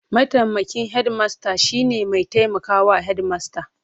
Mataimakin hedimasta shine mai taimaka wa Hedimasta.